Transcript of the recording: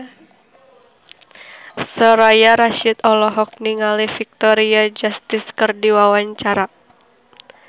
Soraya Rasyid olohok ningali Victoria Justice keur diwawancara